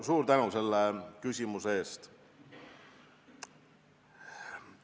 Suur tänu selle küsimuse eest!